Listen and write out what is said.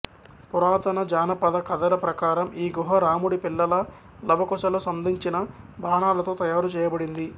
పురాతన జానపద కధల ప్రకారం ఈ గుహ రాముడి పిల్లలు లవకుశలు సంధించిన బాణాలతో తయారు చేయబడింది